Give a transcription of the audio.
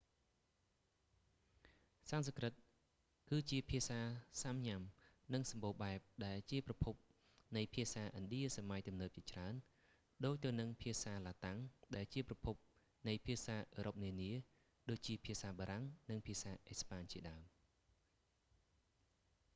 សំស្ក្រឹតគឺជាភាសាសាំញ៉ាំ និងសម្បូរបែប ដែលជាប្រភពនៃភាសាឥណ្ឌាសម័យទំនើបជាច្រើន ដូចទៅហ្នឹងភាសាឡាតាំង ដែលជាប្រភពនៃភាសាអឺរ៉ុបនានា ដូចជាភាសាបារាំង និងភាសាអេស្ប៉ាញជាដើម